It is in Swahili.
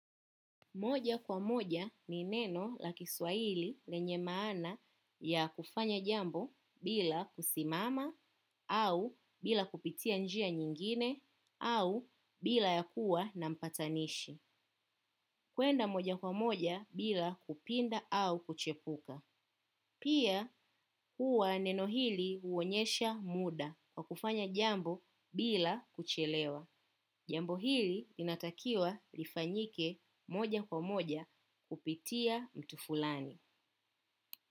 Moja kwa moja ni neno la kiswahili lenye maana ya kufanya jambo bila kusimama au bila kupitia njia nyingine au bila ya kuwa na mpatanishi kuenda moja kwa moja bila kupinda au kuchepuka. Pia huwa neno hili huonyesha muda kwa kufanya jambo bila kuchelewa. Jambo hili inatakiwa lifanyike moja kwa moja kupitia mtu fulani.